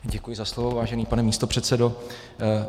Děkuji za slovo, vážený pane místopředsedo.